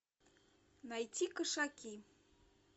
найти кошаки